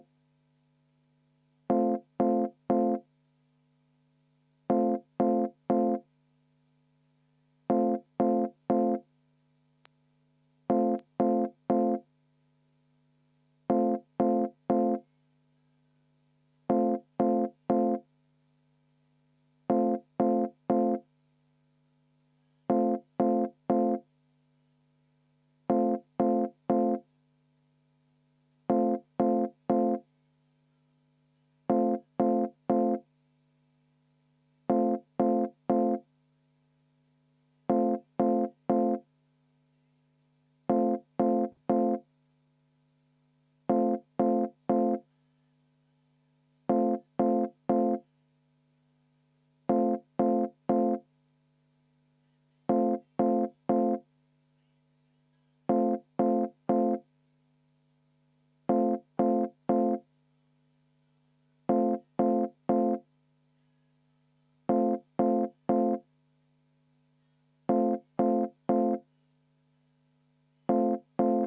V a h e a e g